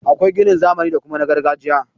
Akwai ginin zamani da kuma na gargajiya.